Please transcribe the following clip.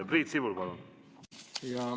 Priit Sibul, palun!